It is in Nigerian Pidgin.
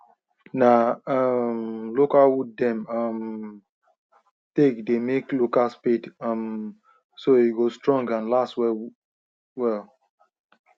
na um local wood them um take they make local spade um so e go strong and last well well